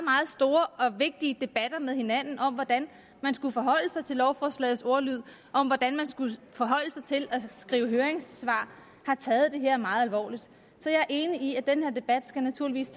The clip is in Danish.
store og vigtige debatter med hinanden om hvordan man skulle forholde sig til lovforslagets ordlyd og om hvordan man skulle forholde sig til at skrive høringssvar har taget det her meget alvorligt så jeg er enig i at den her debat naturligvis